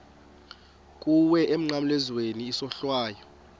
kuwe emnqamlezweni isohlwayo